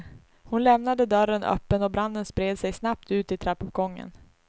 Hon lämnade dörren öppen och branden spred sig snabbt ut i trappuppgången.